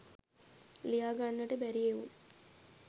ලියා ගන්නට බැරි එවුන්